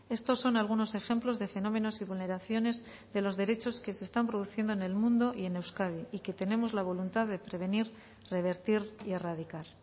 estos son algunos ejemplos de fenómenos y vulneraciones de los derechos que se están produciendo en el mundo y en euskadi y que tenemos la voluntad de prevenir revertir y erradicar